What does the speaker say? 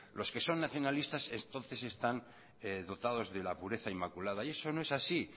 los que son nacionalistas entonces están dotados de la pureza inmaculada y eso no es así